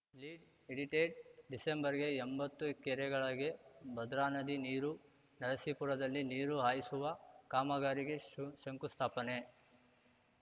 lead edited ಡಿಸೆಂಬರ್‌ಗೆ ಎಂಬತ್ತು ಕೆರೆಗಳಿಗೆ ಭದ್ರಾನದಿ ನೀರು ನರಸೀಪುರದಲ್ಲಿ ನೀರು ಹಾಯಿಸುವ ಕಾಮಗಾರಿಗೆ ಶು ಶಂಕುಸ್ಥಾಪನೆ